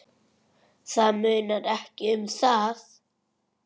Það munar ekki um það!